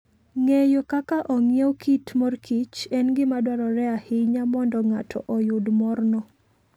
Ng'eyo kaka ong'iew kit mor kich en gima dwarore ahinya mondo ng'ato oyud morno.